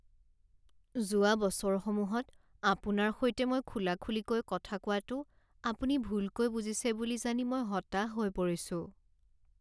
যোৱা বছৰসমূহত আপোনাৰ সৈতে মই খোলাখুলিকৈ কথা কোৱাটো আপুনি ভুলকৈ বুজিছে বুলি জানি মই হতাশ হৈ পৰিছোঁ।